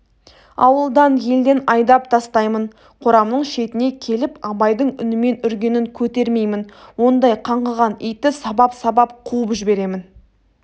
ауылдан елден айдап тастаймын қорамның шетіне келіп абайдың үнімен үргенін көтермеймін ондай қаңғыған итті сабап-сабап қуып жіберемін